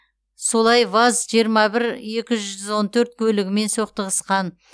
солай ваз жиырма бір екі жүз он төрт көлігімен соқтығысқан